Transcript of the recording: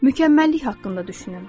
Mükəmməllik haqqında düşünün.